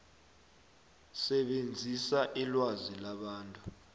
sebenzisa ilwazi labantu